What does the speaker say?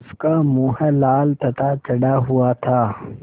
उसका मुँह लाल तथा चढ़ा हुआ था